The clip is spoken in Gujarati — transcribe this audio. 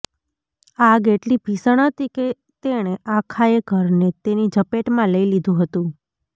આગ એટલી ભીષણ હતી કે તેણે આખાયે ઘરને તેની ઝપેટમાં લઈ લીધુ હતું